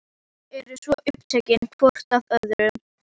Þau eru svo upptekin hvort af öðru.